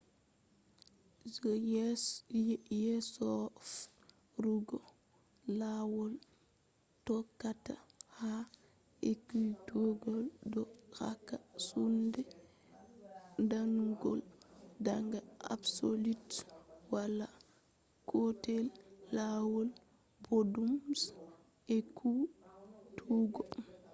je yesoferugo lawol tokkata ha ekkutuggo do hokka soinde damugo daga absolute. wala gotel lawol boddum je ekkutuggo